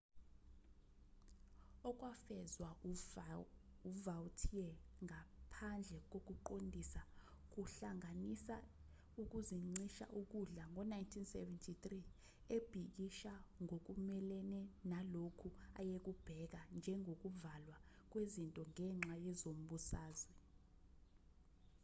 okwafezwa uvautier ngaphandle kokuqondisa kuhlanganisa ukuzincisha ukudla ngo-1973 ebhikisha ngokumelene nalokho ayekubheka njengokuvalwa kwezinto ngenxa yezombusazwe